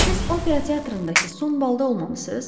Siz opera teatrındakı son balda olmamısınız?